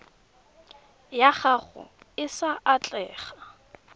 ya gago e sa atlega